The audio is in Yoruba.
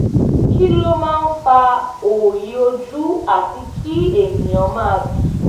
kí ló máa ń fa òòyì ojú àti kí ènìyàn máa bì?